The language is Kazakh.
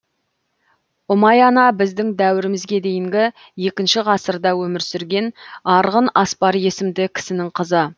ұмай ана біздің дәуірімізге дейінгі екінші ғасырда өмір сүрген арғын аспар есімді кісінің қызы